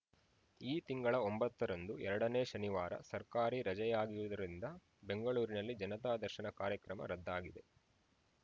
ಈ ತಿಂಗಳ ಒಂಬತ್ತರಂದು ಎರಡನೇ ಶನಿವಾರ ಸರ್ಕಾರಿ ರಜೆಯಾಗಿರುವುದರಿಂದ ಬೆಂಗಳೂರಿನಲ್ಲಿ ಜನತಾ ದರ್ಶನ ಕಾರ್ಯಕ್ರಮ ರದ್ದಾಗಿದೆ